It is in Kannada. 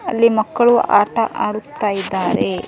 ಅಲ್ಲಿ ಮಕ್ಕಳು ಆಟ ಆಡುತ್ತಾ ಇದ್ದಾರೇ.